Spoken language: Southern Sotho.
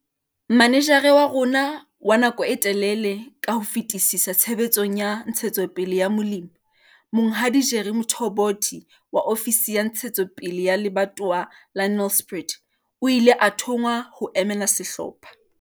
Manejara wa rona wa nako e telele ka ho fetisisa tshebetsong ya Ntshetsopele ya Molemi, Monghadi Jerry Mthombothi wa ofisi ya Ntshetsopele ya Lebatowa la Nelspruit, o ile a thonngwa ho emela sehlopha.